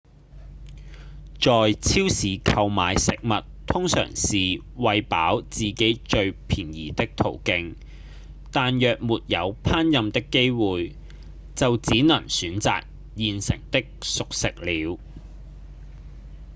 在超市購買食物通常是餵飽自己最便宜的途徑但若沒有烹飪的機會就只能選擇現成的熟食了